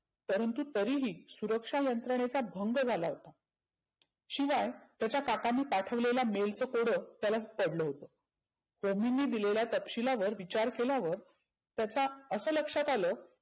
परंतु तरी ही सुरक्षा यंत्रनेचा भंग झाला होता. शिवाय त्याच्या काकांनी पाठवलेलं mail च कोड त्यालाचं पडलं होतं. दोन्हीनी दिलेल्या तपशिलावर विचार केला व त्याचा असं लक्षात आलं